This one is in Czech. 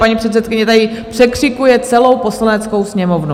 Paní předsedkyně tady překřikuje celou Poslaneckou sněmovnu.